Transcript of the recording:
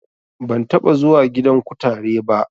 Ban taɓa zuwa gidan kutare ba